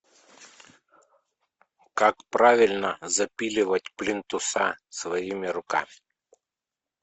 как правильно запиливать плинтуса своими руками